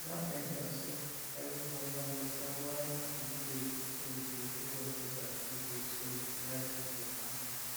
we gats make sure say um everybody understand why e good to dey go hospital quick quick so um life go better